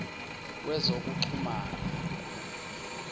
wezokuxhumana